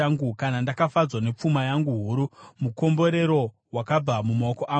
kana ndakafadzwa nepfuma yangu huru, mukomborero wakabva mumaoko angu,